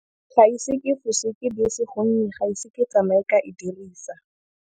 Ga ise ke bese, gonne ga ise ke tsamaye ka e dirisa.